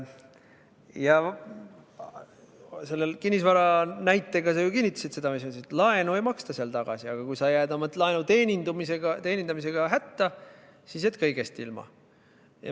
Ja selle kinnisvaranäitega sa kinnitasid seda, mis ma ütlesin: laenu ei maksta tagasi, aga kui sa jääd oma laenu teenindamisega hätta, siis jääd kõigest ilma.